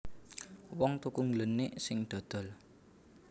Wong tuku ngglenik sing dodol